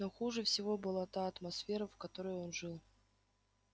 но хуже всего была та атмосфера в которой он жил